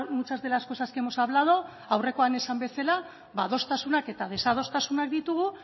muchas de las cosas que hemos hablando aurrekoa esan bezala ba adostasunak eta desadostasunak ditugu